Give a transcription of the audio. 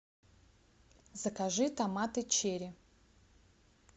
закажи томаты черри